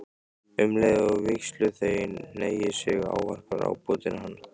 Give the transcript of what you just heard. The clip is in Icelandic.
Um leið og vígsluþeginn hneigir sig ávarpar ábótinn hann